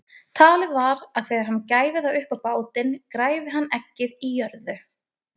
Talið var að þegar hann gæfi það upp á bátinn græfi hann eggið í jörðu.